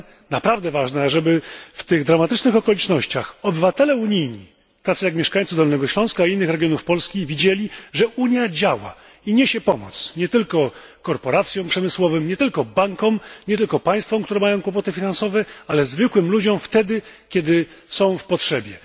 Naprawdę ważne jest zatem, aby w tych dramatycznych okolicznościach obywatele unijni, tacy jak mieszkańcy Dolnego Śląska i innych regionów Polski, widzieli, że Unia działa i niesie pomoc, nie tylko korporacjom przemysłowym, nie tylko bankom, nie tylko państwom, które mają kłopoty finansowe, ale także zwykłym ludziom wtedy, kiedy są w potrzebie.